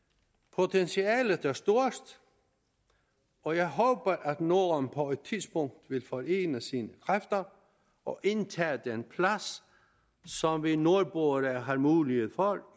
potentialet er stort og jeg håber at norden på et tidspunkt vil forene sine kræfter og indtage den plads som vi nordboere har mulighed for